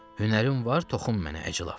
Hünərin var, toxun mənə əclaf.